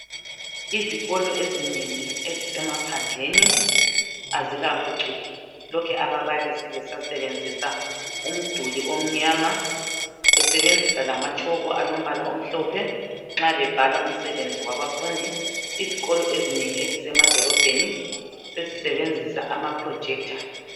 izikolo eziningi ezisemaphandleni azikaphucuki lokhe ababalisi besasebenzisa umduli omnyama besebenzisa lama tshoko alombala omhlophe nxa bebhala umsebenzi wabafundi izikolo ezinengi ezisemadolobheni sezisebenzisa ama projector